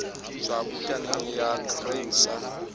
tswa bukaneng ya grain sa